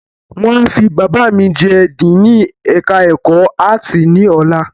Wọ́n a fi Bàbá mi jẹ Díìnì ẹ̀ka ẹ̀kọ́ áàtì ní ọ̀la